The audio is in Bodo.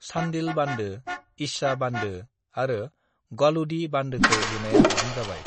"चान्डील बान्दो, इच्छा बान्दो आरो गालुडीह बान्दोखौ लुनाया आबुं जाबाय।"